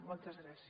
moltes gràcies